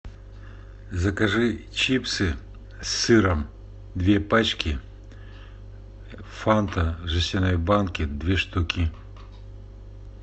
закажи чипсы с сыром две пачки фанта в жестяной банке две штуки